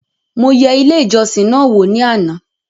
Mo yẹ ilé ìjọsìn náà wò ní àná